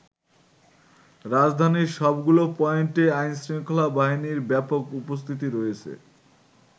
রাজধানীর সবগুলো পয়েন্টেই আইনশৃঙ্খলা বাহিনীর ব্যাপক উপস্থিতি রয়েছে।